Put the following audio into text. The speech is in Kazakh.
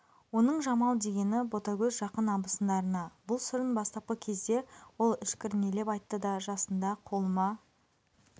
оның жамал дегені ботагөз жақын абысындарына бұл сырын бастапқы кезде ол ішкірнелеп айтты да жасында қолыма